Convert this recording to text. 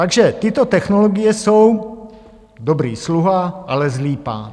Takže tyto technologie jsou dobrý sluha, ale zlý pán.